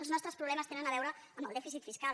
els nostres problemes tenen a veure amb el dèficit fiscal